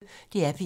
DR P1